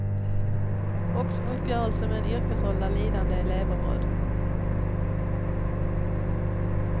Och som uppgörelse med en yrkesroll där lidande är levebröd.